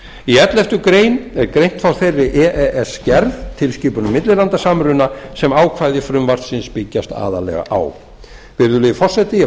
í elleftu grein er greint frá þeirri e e s gerð tilskipun um millilandasamruna sem ákvæði frumvarpsins byggjast aðallega á virðulegi forseti ég